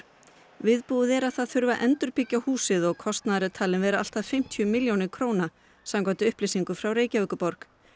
viðbúið er að það þurfi að endurbyggja húsið og kostnaður talinn vera allt að fimmtíu milljónir króna samkvæmt upplýsingum frá Reykjavíkurborg